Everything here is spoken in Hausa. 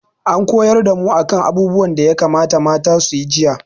An koyar da mu a kan abubuwan da ya kamata mata su yi jiya